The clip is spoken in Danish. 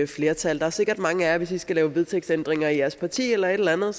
flertal der er sikkert mange af jer der hvis i skal lave vedtægtsændringer i jeres parti eller et eller andet